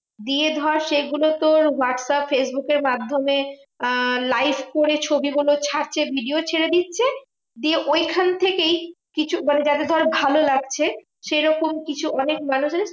দিয়ে ধর সেগুলো তোর হোয়াটস্যাপ ফেসবুকের মাধ্যমে আহ live করে ছবিগুলো ছাড়ছে video ছেড়ে দিচ্ছে। দিয়ে ঐখান থেকেই কিছু মানে যাদের ধর ভালো লাগছে সেরকম কিছু অনেক মানুষ আছে